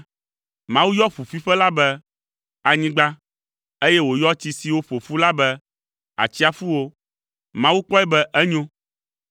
Mawu yɔ ƒuƒuiƒe la be “anyigba,” eye wòyɔ tsi siwo ƒo ƒu la be, “atsiaƒuwo.” Mawu kpɔe be enyo.